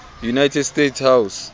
united states house